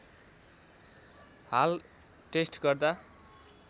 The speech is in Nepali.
हाल टेस्ट गर्दा